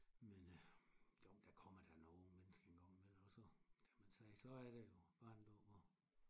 Men øh jo der kommer da nogen mennesker en gang imellem og så kan man sige så er det jo barnedåb og